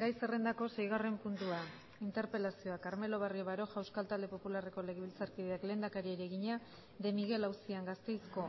gai zerrendako seigarren puntua interpelazioa carmelo barrio baroja euskal talde popularreko legebiltzarkideak lehendakariari egina de miguel auzian gasteizko